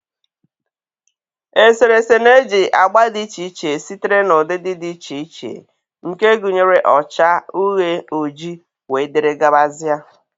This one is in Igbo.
Eserese na-eji agba dị iche iche sitere na ụdịdị dị iche iche nke gụnyere ọcha, uhie, ojii wdg.